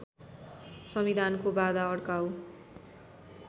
संविधानको बाधा अड्काउ